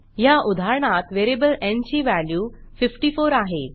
ह्या उदाहरणात व्हेरिएबल न् ची व्हॅल्यू 54 आहे